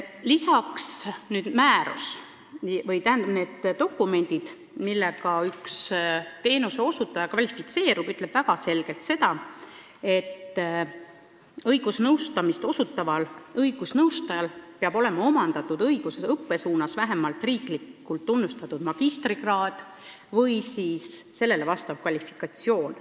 Lisaks ütleb see määrus väga selgelt, et õigusabi osutaval õigusnõustajal peab olema omandatud õiguse õppesuunal vähemalt riiklikult tunnustatud magistrikraad või sellele vastav kvalifikatsioon.